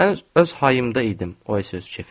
Mən öz hayımda idim, o isə öz kefində.